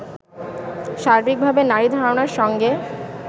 সার্বিকভাবে নারী ধারণার সঙ্গে